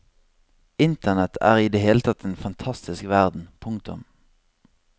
Internet er i det hele tatt en fantastisk verden. punktum